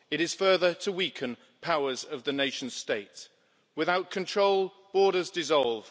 It is further to weaken powers of the nation states. Without control, borders dissolve.